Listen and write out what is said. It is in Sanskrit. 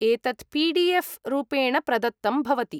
एतत् पि.डि.एफ़्. रूपेण प्रदत्तं भवति।